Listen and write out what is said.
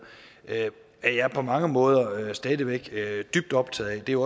er jeg på mange måder stadig væk dybt optaget af det er